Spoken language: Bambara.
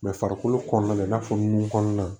farikolo kɔnɔna la i n'a fɔ nun kɔnɔna